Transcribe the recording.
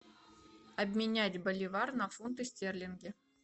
обменять боливар на фунты стерлинги